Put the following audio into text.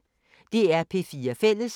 DR P4 Fælles